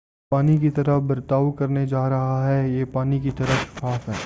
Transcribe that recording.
یہ پانی کی طرح برتاؤ کرنے جارہا ہے یہ پانی کی طرح شفاف ہے